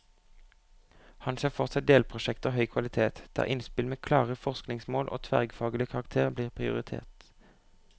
Han ser for seg delprosjekter av høy kvalitet, der innspill med klare forskningsmål og tverrfaglig karakter blir prioritert.